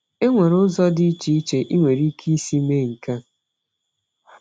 Enwere ụzọ dị iche iche i nwere ike isi mee nke a.